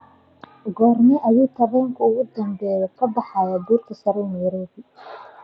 goorma ayuu tareenkii ugu dambeeyay ka baxayaa buurta sare ee nairobi